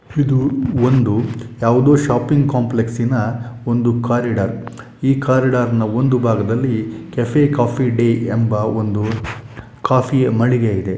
ಇದು ಒಂದು ಯಾವುದೋ ಶಾಪಿಂಗ್ ಕಾಂಪ್ಲೆಕ್ಸ್ ನ ಒಂದು ಕಾರಿಡಾರ್ ಈ ಕಾರಿಡಾರ್ ನ ಒಂದು ಭಾಗದಲ್ಲಿ ಕೆಫೆ ಕಾಫಿ ಡೇ ಎಂಬ ಒಂದು ಕಾಫಿಯ ಮಳಿಗೆ ಇದೆ.